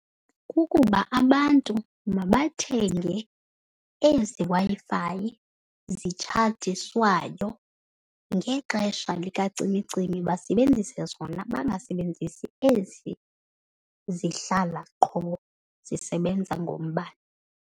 Kukuba abantu mabathenge ezi Wi-Fi zitshajiswayo. Ngexesha likacimicimi basebenzise zona bangasebenzisi ezi zihlala qho zisebenza ngombane.